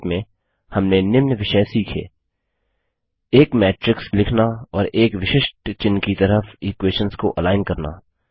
संक्षेप में हमने निम्न विषय सीखे एक मैट्रिक्स लिखना और एक विशिष्ट चिह्न की तरफ इक्वेशंस को अलाइन करना